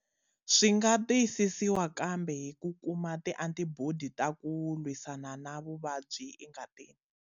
Swi nga tiyisisiwa kambe hi ku kuma tiantibodi ta ku lwisana na vuvabyi engatini.